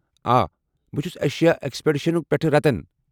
ا، بہٕ چھُس Asia expedition پٮ۪ٹھٕہٕ رتن۔